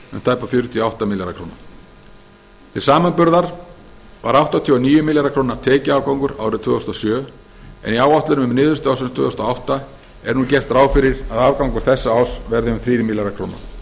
tæpa fjörutíu og átta milljarða króna til samanburðar var áttatíu og níu milljarða króna tekjuafgangur árið tvö þúsund og sjö en í áætlunum um niðurstöðu ársins tvö þúsund og átta er nú gert ráð fyrir að afgangur þessa árs verði um þrír milljarðar króna